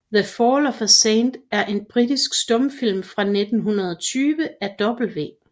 The Fall of a Saint er en britisk stumfilm fra 1920 af W